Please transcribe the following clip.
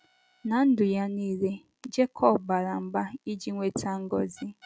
Ná ndụ ya nile, Jekọb gbara mgba iji nweta ngọzi